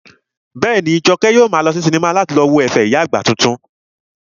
Bẹ́ẹ̀ni, Jọkẹ́ yóò maa lọ sí sinimá láti lọ wo ẹ̀fẹ̀ ìyá àgbà titun